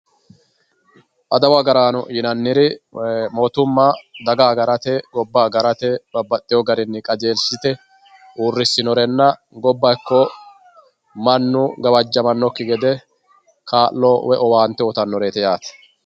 adawu agaraano yinanniri mootumma adawa agarate babbaxewo garinni qajeeliste uurrissinorenna gobba ikko mannu gawjjamannokki gede kaa'lo woy owaante uyitannoreet yaate